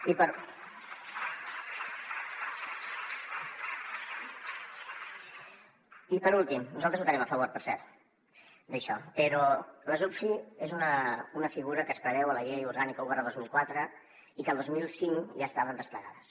i per últim nosaltres hi votarem a favor per cert d’això però les uvfi són una figura que es preveu a la llei orgànica un dos mil quatre i que el dos mil cinc ja estaven desplegades